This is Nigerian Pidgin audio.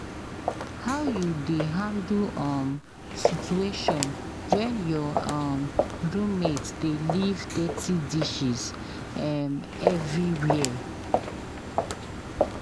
how you dey handle um situation when your um roommate dey leave dirty dishes um everywhere?